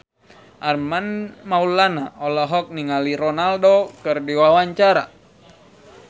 Armand Maulana olohok ningali Ronaldo keur diwawancara